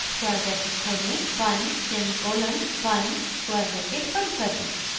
square bracket खोलें 1 semicolon 1 square bracket बंद करें